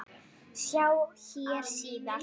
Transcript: Sjá hér síðar.